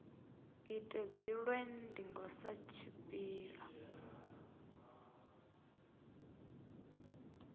ite dziṅwe ndingo sa tshipiḓa